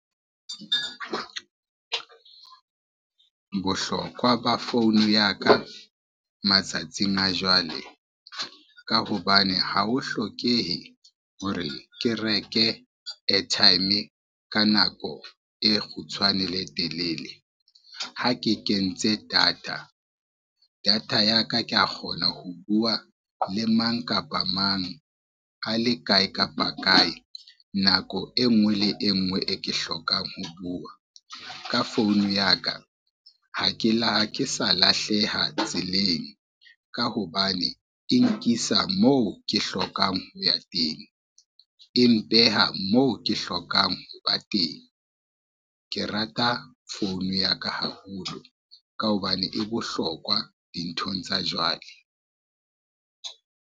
Bohlokwa ba phone ya ka matsatsing a jwale, ka hobane ha ho hlokehe hore ke reke airtime ka nako e kgutshwane le e telele. Ha ke kentse data, data ya ka ke a kgona ho bua le mang kapa mang, a le kae kapa kae, nako e ngwe le e ngwe e ke hlokang ho bua. Ka phone ya ka ha ke sa lahleha tseleng ka hobane e nkisa moo ke hlokang ho ya teng, e mpeha moo ke hlokang ho ba teng. Ke rata founu ya ka haholo ka hobane e bohlokwa dinthong tsa jwale.